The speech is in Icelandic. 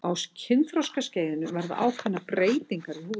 á kynþroskaskeiðinu verða ákveðnar breytingar í húðinni